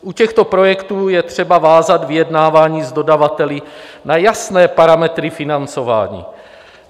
U těchto projektů je třeba vázat vyjednávání s dodavateli na jasné parametry financování.